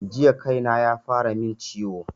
Jiya kaina yafara min ciwo